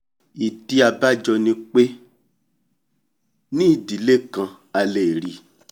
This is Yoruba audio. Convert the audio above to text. ìdí abájọ ni pé ní ìdílé kan a lè rí